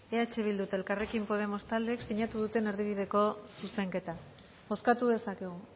eh bildu eta elkarrekin podemos taldeek sinatu duten erdibideko zuzenketa bozkatu dezakegu